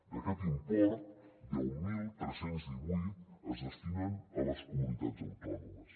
d’aquest import deu mil tres cents i divuit es destinen a les comunitats autònomes